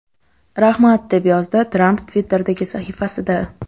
Rahmat!” deb yozdi Tramp Twitter’dagi sahifasida.